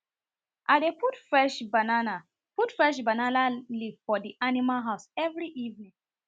i dey put fresh banana put fresh banana leave for the animal house every evening